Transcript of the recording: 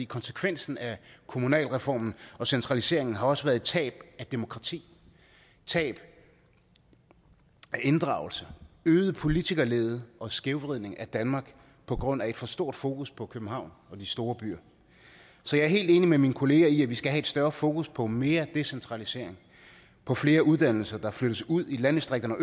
konsekvensen af kommunalreformen og centraliseringen har også været et tab af demokrati tab af inddragelse øget politikerlede og skævvridning af danmark på grund af et for stort fokus på københavn og de store byer så jeg er helt enig med mine kolleger i at vi skal have et større fokus på mere decentralisering på flere uddannelser der flyttes ud i landdistrikterne og